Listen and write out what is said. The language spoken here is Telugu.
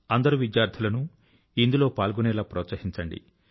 అందరు విద్యార్థుల ను ఇందులో పాల్గొనేలా ప్రోత్సహించండి